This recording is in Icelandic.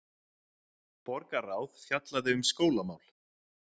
Borgarráð fjallaði um skólamál